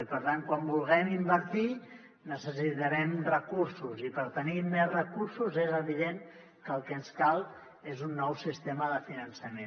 i per tant quan vulguem invertir necessitarem recursos i per tenir més recursos és evident que el que ens cal és un nou sistema de finançament